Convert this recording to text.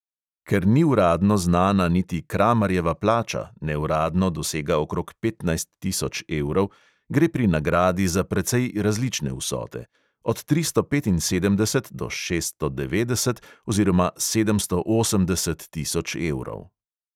Ker ni uradno znana niti kramarjeva plača, neuradno dosega okrog petnajst tisoč evrov, gre pri nagradi za precej različne vsote; od tristo petinsedemdeset do šeststo devetdeset oziroma sedemsto osemdeset tisoč evrov.